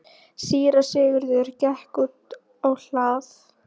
Síra Sigurður gekk út á hlað.